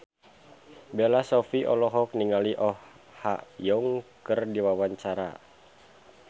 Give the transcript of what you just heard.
Bella Shofie olohok ningali Oh Ha Young keur diwawancara